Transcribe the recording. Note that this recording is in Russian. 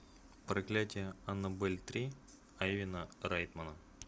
проклятие аннабель три айвена райтмана